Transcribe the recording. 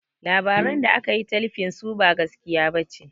Labaran da akayi talifin su ba gaskiya ɓace